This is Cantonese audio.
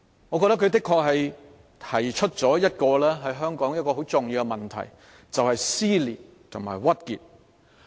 我認為她確實道出了香港一個很重要的問題，就是"撕裂"和"鬱結"。